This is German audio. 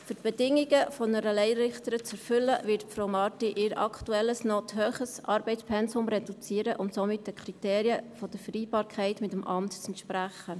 Um die Bedingungen einer Laienrichterin zu erfüllen, wird Frau Marti ihr aktuelles, noch zu hohes Arbeitspensum reduzieren und somit den Kriterien der Vereinbarkeit mit dem Amt entsprechen.